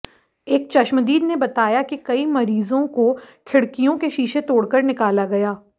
एक चश्मदीद ने बताया कि कई मरीजों को खिड़कियाें के शीशे तोड़कर निकाला गया